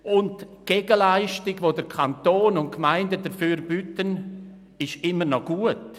Die Gegenleistung, die der Kanton und die Gemeinden dafür bieten, ist immer noch gut.